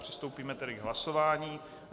Přistoupíme tedy k hlasování.